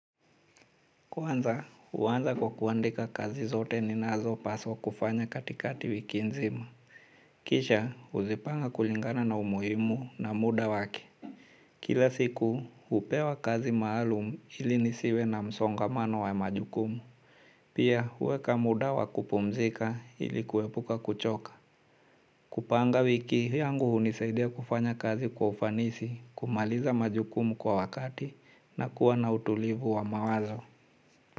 Kwanza, uwanza kwa kuandika kazi zote ninazo paswa kufanya katikati wiki nzima. Kisha, uzipanga kulingana na umuhimu na muda wake. Kila siku, hupewa kazi maalum ili nisiwe na msongamano wa majukumu. Pia, huweka muda wa kupumzika ili kuepuka kuchoka. Kupanga wiki, yangu hunisaidia kufanya kazi kwa ufanisi kumaliza majukumu kwa wakati na kuwa na utulivu wa mawazo.